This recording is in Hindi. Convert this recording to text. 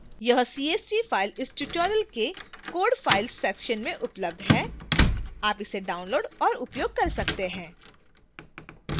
यह csv file इस tutorial के code files section में उपलब्ध है आप इसे download और उपयोग कर सकते हैं